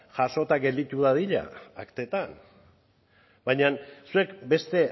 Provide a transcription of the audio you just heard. jasota gelditu dadila aktetan baina zuek beste